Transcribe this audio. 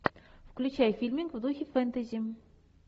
включай фильмик в духе фэнтези